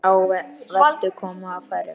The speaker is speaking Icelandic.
Á veturna koma færri.